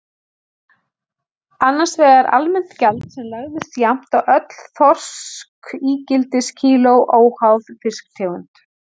Annars vegar almennt gjald sem lagðist jafnt á öll þorskígildiskíló, óháð fiskitegund.